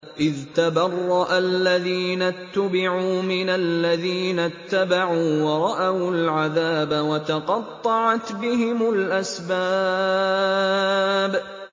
إِذْ تَبَرَّأَ الَّذِينَ اتُّبِعُوا مِنَ الَّذِينَ اتَّبَعُوا وَرَأَوُا الْعَذَابَ وَتَقَطَّعَتْ بِهِمُ الْأَسْبَابُ